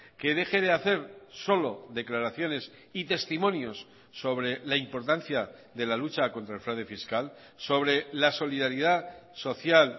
que deje de hacer solo declaraciones y testimonios sobre la importancia de la lucha contra el fraude fiscal sobre la solidaridad social